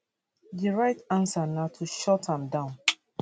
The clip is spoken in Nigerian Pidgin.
di right answer na to shut am down